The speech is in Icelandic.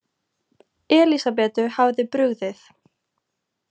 Elísabetu hafði brugðið.